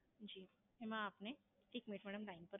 જી એમાં આપને, એક મીનીટ મેડમ Line પર